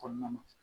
Kɔnɔna na